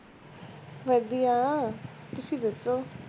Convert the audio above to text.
ਵਧਿਆ ਤੁਸੀਂ ਦਸੋ